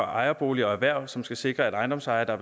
ejerboliger og erhverv som skal sikre at ejendomsejere der